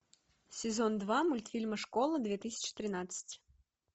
сезон два мультфильма школа две тысячи тринадцать